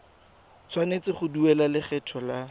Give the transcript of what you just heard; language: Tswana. tshwanetse go duela lekgetho la